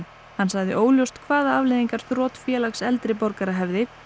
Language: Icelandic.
hann sagði óljóst hvaða afleiðingar þrot Félags eldri borgara hefði